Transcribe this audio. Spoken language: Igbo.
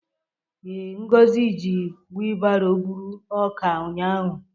Ee, Ngozi ji wilbaro buru ọka ụnyahụ.